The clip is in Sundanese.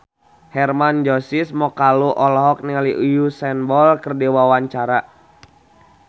Hermann Josis Mokalu olohok ningali Usain Bolt keur diwawancara